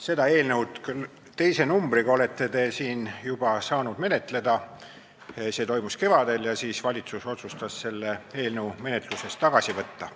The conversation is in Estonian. Seda eelnõu, küll teise numbriga, olete te siin juba saanud menetleda, see toimus kevadel ja siis valitsus otsustas selle eelnõu menetlusest tagasi võtta.